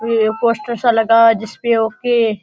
ओ पोस्टर सा लगा हुआ है जिसपे ओके --